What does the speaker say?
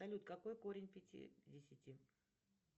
салют какой корень пятидесяти